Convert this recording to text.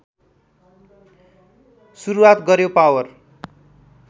सुरुवात गर्‍यो पावर